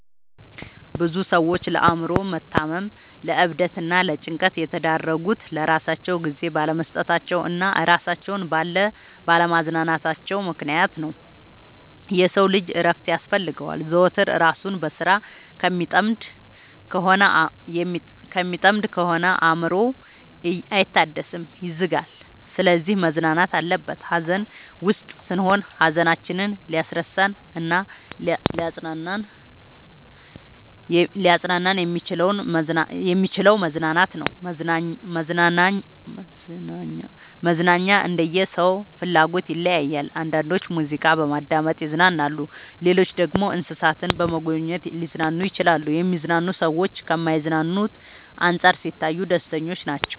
ብዙ ሰዎች ለአእምሮ መታመም ለዕብደት እና ለጭንቀት የተዳረጉት ለራሳቸው ጊዜ ባለመስጠታቸው እና እራሳቸውን ባለ ማዝናናታቸው ምክንያት ነው። የሰው ልጅ እረፍት ያስፈልገዋል። ዘወትር እራሱን በስራ ከሚጠምድ ከሆነ አእምሮው አይታደስም ይዝጋል። ስለዚህ መዝናናት አለበት። ሀዘን ውስጥ ስንሆን ሀዘናችንን ሊያስረሳን እናሊያፅናናን የሚችለው መዝናናት ነው። መዝናናኛ እንደየ ሰው ፍላጎት ይለያያል። አንዳንዶች ሙዚቃ በማዳመጥ ይዝናናሉ ሌሎች ደግሞ እንሰሳትን በመጎብኘት ሊዝናኑ ይችላሉ። የሚዝናኑ ሰዎች ከማይዝናኑት አንፃር ሲታዩ ደስተኞች ናቸው።